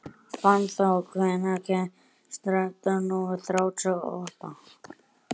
Fannþór, hvenær kemur strætó númer þrjátíu og átta?